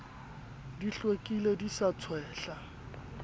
di hlwekile di sa tshwehle